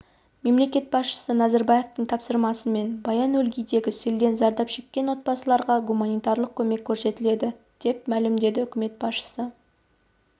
мемлекет басшысы назарбаевтың тапсырмасымен баянөлгий-дегі селден зардап шеккен отбасыларға гуманитарлық көмек көрсетіледі деп мәлімдеді үкімет басшысы